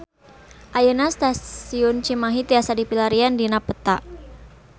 Ayeuna Stasiun Cimahi tiasa dipilarian dina peta